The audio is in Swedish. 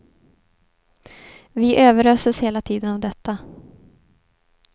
Vi överöses hela tiden av detta.